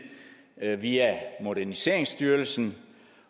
via moderniseringsstyrelsen